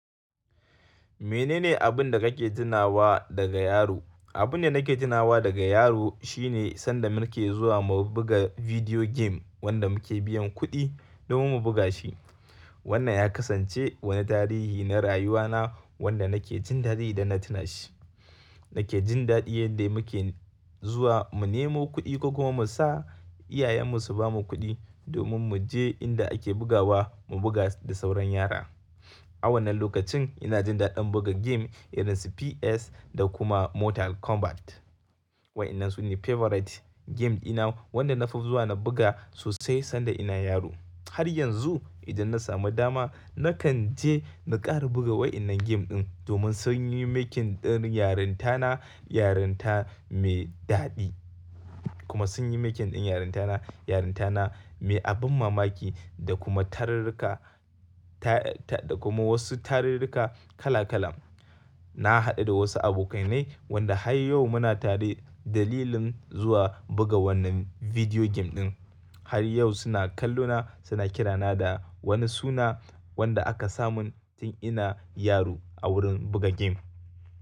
Menene abin da kake tunawa daga yaro? Abin da nake tunawa daga yaro shine sanda muke zuwa mu buga video game wanda muke biyan kuɗi domin mu buga shi. Wannan ya kasance wani tarihi na rayuwa na wanda nake jin daɗi da na tuna shi. Nake jin daɗin yadda muke zuwa mu nemo kuɗi ko kuma mu sa iyayenmu su bamu kuɗi domin mu je inda ake bugawa mu buga da sauran yara. A wannan lokacin ina jin daɗin buga game irin su PS da kuma Mortal Kombat. Wa'inan su ne favorite game dina wanda na fi zuwa na buga sosai sanda ina yaro. Har yanzu idan na samu dama nakan je na ƙara buga wa'inan game din domin sun yi making ɗin yarintana, yarinta me ɗaɗi kuma sun yi making ɗin yarintana, yarinta me abin mamaki da kuma tararrika ta, ta da kuma wasu tararrika kala kala. Na haɗu da wasu abokainai wanda har yau muna tare dalilin zuwa buga wannan video game ɗin. Har yau suna kallona suna kirana da wani suna wanda aka samun tun ina yaro a wurin buga game.